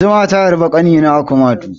Zuma ta harbi ƙanina a kumatu.